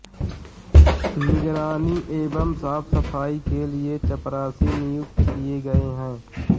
निगरानी एवं साफसफाई के लिए चपरासी नियुक्त किये गये हैं